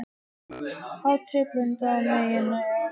Hatrið blundar á meðan ég reikna.